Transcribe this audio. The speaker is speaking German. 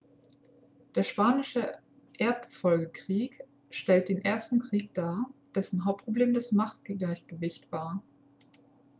der spanische erbfolgekrieg stellt den ersten krieg dar dessen hauptproblem das machtgleichgewicht war